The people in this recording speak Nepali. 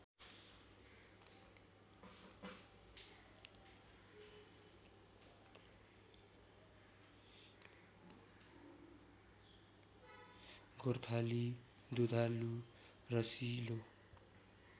गोर्खाली दुधालु रसिलो